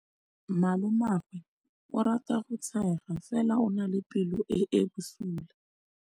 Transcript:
Malomagwe o rata go tshega fela o na le pelo e e bosula.